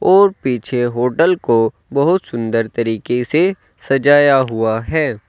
और पीछे होटल को बहुत सुंदर तरीके से सजाया हुआ है।